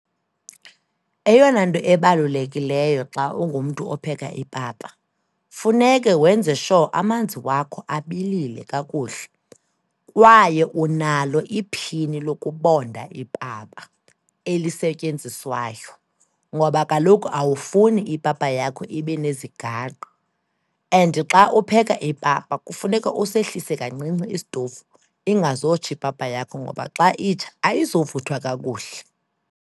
Eyona nto ebalulekileyo xa ungumntu opheka ipapa, funeka wenze sure amanzi wakho abilile kakuhle, kwaye unalo iphini lokubonda ipapa elisetyenziswayo, ngoba kaloku awufuni ipapa yakho ibenezigaqa. And xa upheka ipapa kufuneka usehlise kancinci isitovu, ingazotsha ipapa yakho ngoba xa itsha ayuzovuthwa kakuhle.